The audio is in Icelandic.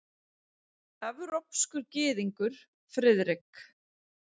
Evrópskur gyðingur, Friðrik.